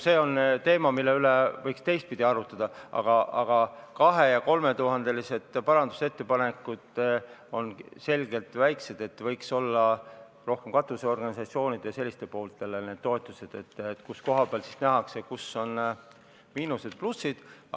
See on teema, mille üle võiks ka teistpidi arutada, aga 2000–3000 euro suurused parandusettepanekud on selgelt väikesed, need võiks tulla rohkem katusorganisatsioonide ja selliste asutuste poolt, kus nähakse, kus on miinused ja plussid.